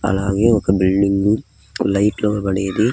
అలాగే ఒక building light లోబడేవి --